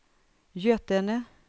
Götene